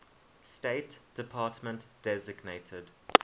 state department designated